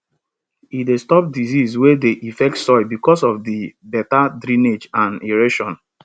e dey stop disease wey dey affect soil because of di better drainage and aeration